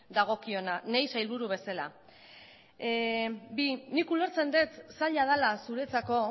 dagokiona niri sailburu bezala bi nik ulertzen dut zaila dela zuretzako